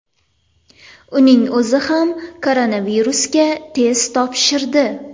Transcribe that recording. Uning o‘zi ham koronavirusga test topshirdi.